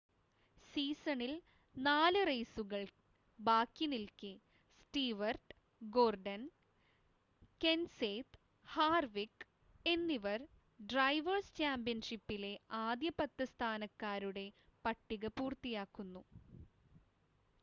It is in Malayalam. സീസണിൽ 4 റെയ്‌സുകൾ ബാക്കി നിൽക്കെ സ്റ്റീവർട്ട് ഗോർഡൻ കെൻസേത്ത് ഹാർവിക് എന്നിവർ ഡ്രൈവേഴ്‌സ് ചാമ്പ്യൻഷിപ്പിലെ ആദ്യ പത്ത് സ്ഥാനക്കാരുടെ പട്ടിക പൂർത്തിയാക്കുന്നു